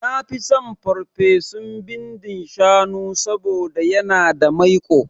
Nafi son ferfesun bindin shanu saboda yana da maiƙo